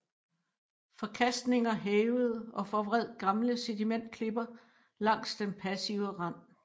Forkastninger hævede og forvred gamle sedimentklipper langs den passive rand